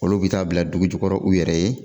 Olu bɛ taa bila dugu jukɔrɔ u yɛrɛ ye